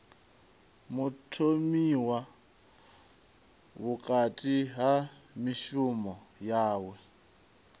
mutholiwa vhukati ha mishumo yawe